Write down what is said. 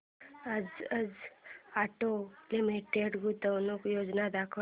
Bajaj auto limited गुंतवणूक योजना दाखव